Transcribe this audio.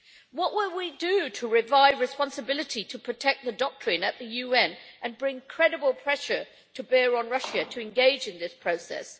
What will we do to revive responsibility to protect the doctrine at the UN and bring credible pressure to bear on Russia to engage in this process?